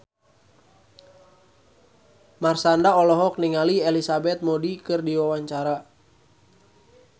Marshanda olohok ningali Elizabeth Moody keur diwawancara